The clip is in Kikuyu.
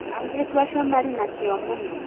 airĩtu acio marĩ na kĩo mũno